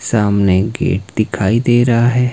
सामने गेट दिखाई दे रहा है।